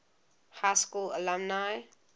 high school alumni